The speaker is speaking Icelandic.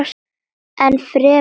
Enn fremur segir